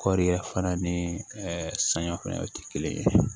Kɔɔri fana ni saniya fɛnɛ tɛ kelen ye